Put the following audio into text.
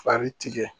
Fari tigɛ